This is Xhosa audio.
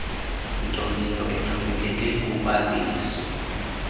ntoleyo exhomekeke kubhaliso